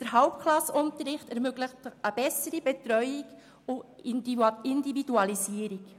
Der Hauptklassenunterricht ermöglicht eine bessere Betreuung und Individualisierung.